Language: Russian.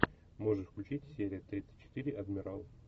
можешь включить серия тридцать четыре адмирал